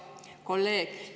Hea kolleeg!